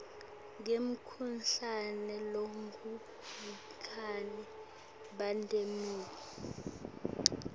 ngemkhuhlane longubhubhane pandemic